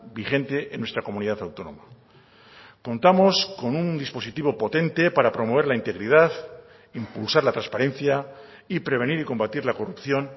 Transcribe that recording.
vigente en nuestra comunidad autónoma contamos con un dispositivo potente para promover la integridad impulsar la transparencia y prevenir y combatir la corrupción